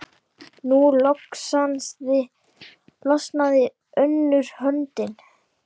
Nú losnaði önnur höndin.